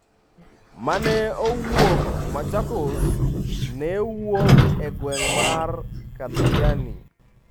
Mane owuok machakos ne wuok e gweng' mar Kathiani.